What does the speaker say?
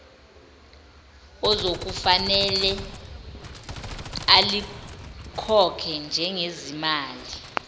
okuzofanele alikhokhe njengezimali